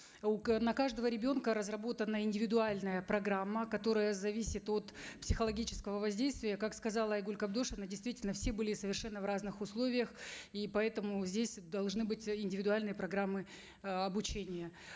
у на каждого ребенка разработана индивидуальная программа которая зависит от психологического воздействия как сказала айгуль кабдошовна действительно все были совершенно в разных условиях и поэтому здесь должны быть э индивидуальные программы э обучения